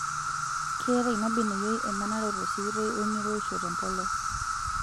Keeta ina beneyio emanaroto sikitoi oo eng'iroisho tempolos